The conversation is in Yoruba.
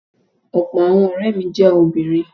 Ọ̀pọ̀ àwọn ọ̀rẹ́ mi jẹ́ obìnrin.